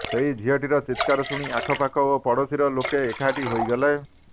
ସେହି ଝିଅଟିର ଚିତ୍କାର ଶୁଣି ଆଖପାଖ ଓ ପଡ଼ୋଶୀର ଲୋକେ ଏକାଠି ହୋଇଗଲେ